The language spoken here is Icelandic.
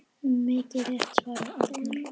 Mikið rétt svarar Arnar.